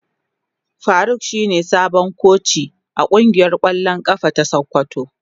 Faruk shine sabon koci a kungiyar kwallon kafa ta sokoto.